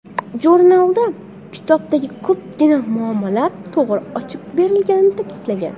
Jurnalda kitobdagi ko‘pgina muammolar to‘g‘ri ochib berilgani ta’kidlangan.